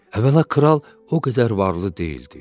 Əvvəla kral o qədər varlı deyildi.